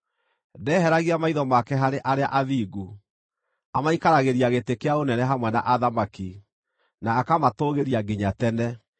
Ndeheragia maitho make harĩ arĩa athingu; amaikaragĩria gĩtĩ kĩa ũnene hamwe na athamaki, na akamatũũgĩria nginya tene.